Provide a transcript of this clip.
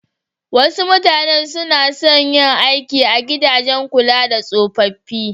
Wasu mutanen su na son yin aiki a gidajen kula da tsofaffi.